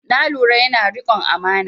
Na lura yana da riƙon amana